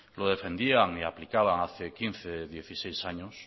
lo defendían y aplicaban hace quince dieciséis años